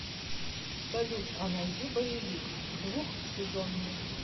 салют а найди боевик двухсезонный